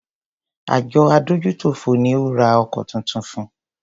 Àjọ adójútòfò ni o ra ọkọ̀ tuntun fun.